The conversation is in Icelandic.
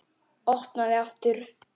Opnaði aftur.